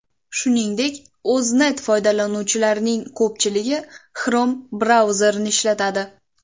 Shuningdek O‘znet foydalanuvchilarining ko‘pchiligi Chrome brauzerini ishlatadi.